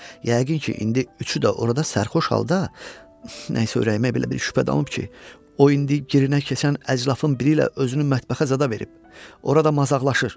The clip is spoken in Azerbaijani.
Yəqin ki, indi üçü də orada sərxoş halda, nə isə ürəyimə belə bir şübhə dalıb ki, o indi girinə keçən əclafın biri ilə özünü mətbəxə zada verib, orada mazaxlaşır.